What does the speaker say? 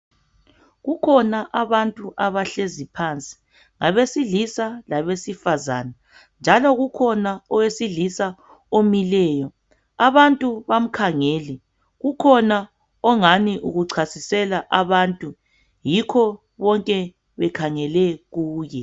Kukhona abantu abahlezi phansi ngabesilisa labesifazana njalo kukhona owesilisa omileyo. Abantu bamkhangele kukhona ongani ukuchasisela abantu yikho bonke bekhangele kuye.